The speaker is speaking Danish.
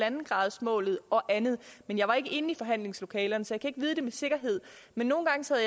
en gradersmålet og andet men jeg var ikke inde i forhandlingslokalet så jeg ikke vide det med sikkerhed men nogle gange sad